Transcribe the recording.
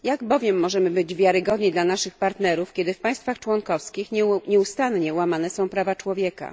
Jak bowiem możemy być wiarygodni dla naszych partnerów, kiedy w państwach członkowskich nieustannie łamane są prawa człowieka?